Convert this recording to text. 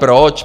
Proč?